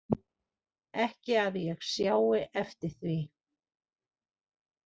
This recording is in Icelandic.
Ekki að ég sjái eftir því